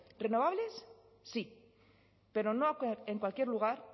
renovables sí pero no en cualquier lugar